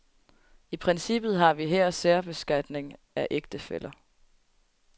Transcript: I princippet har vi her særbeskatning af ægtefæller,